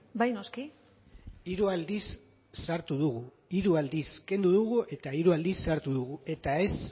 bai noski hiru aldiz sartu dugu hiru aldiz kendu dugu eta hiru aldiz sartu dugu eta ez